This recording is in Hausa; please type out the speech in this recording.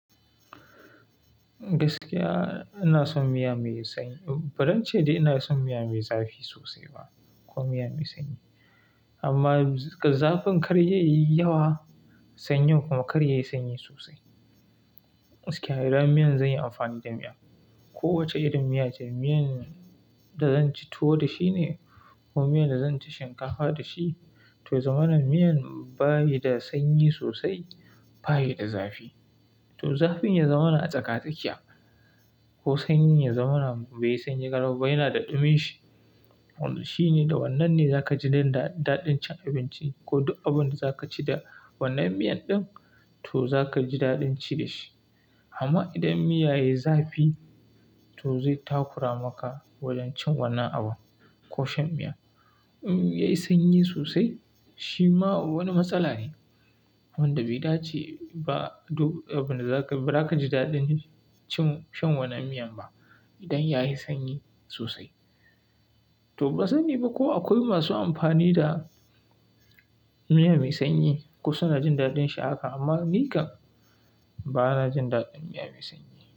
Gaskiya ina son miya mai sanyi. Ba zan ce dai ina son miya mai zafi sosai ba ko miya mai sanyi. Amma zafin kar ya yi yawa, sanyin kuma kar ya yi sanyi sosai. Gaskiya idan miyan zan yi amfani da miya, kowace irin miya ce, miyan da zan ci tuwo da shi ne ko miyan da zan ci shinkafa da shi, to zama na miyan bayi da sanyi sosai, bayi da zafi. To zafin ya zamana a tsaka-tsakiya ko sanyin ya zamana bai sanyi garau, bai yana da dumin shi. Wannan shine da wannan ne za ka ji daɗin cin abinci ko duk abun da za ka ci da wannan miyan ɗin, to za ka ji daɗin ci da shi. Amma idan miya yayi zafi, to zai takura maka wajen cin wannan abu ko shan miya. In yayi sanyi sosai, shi ma wani matsala ne wanda bai dace ba. Duk abin da za ka, ba za ka ji daɗin cin, shan wannan miyan ba idan yayi sanyi sosai. To ban sani ba ko akwai masu amfani da miya mai sanyi, ko suna jin daɗin sha a haka amma ni kam ba na jin daɗin miya mai sanyi.